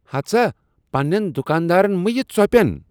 ہتہٕ سا، پنٛنین دُکاندارن مہ یہِ ژۄپین۔